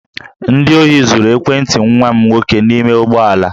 Ndị ohi zuru ekwentị nwa m nwoke n'ime ụgbọ ala